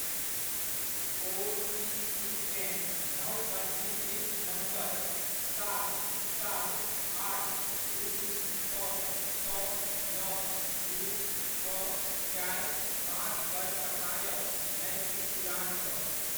ओ.टी.पीकेँ नव पञ्जीकृत नम्बर सात सात आठ दू छओ छओ नओ दू छओ चारि पाँच पर पठायब ना कि पुरानपर।